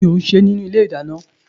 Kí ni ò ń ṣe nínú ilé ìdáná?